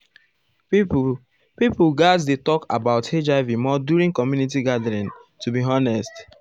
people people gatz dey talk about hiv more during community gathering to be honest.